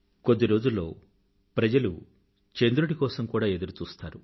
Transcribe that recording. కొద్ది రోజుల్లో ప్రజలు చంద్రుడి కోసం కూడా ఎదురుచూశ్తారు